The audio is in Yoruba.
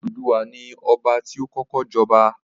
Odùduwà ni Ọba ti ó kọ́kọ́ jọba